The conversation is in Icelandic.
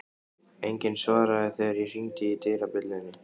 Enginn svaraði þegar ég hringdi dyrabjöllunni.